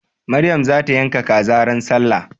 Maryam za ta yanka kaza ran sallah.